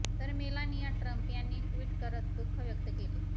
तर Melania Trump यांनी tweet करत दुःख व्यक्त केले